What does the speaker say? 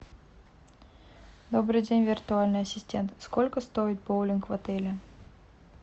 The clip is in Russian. добрый день виртуальный ассистент сколько стоит боулинг в отеле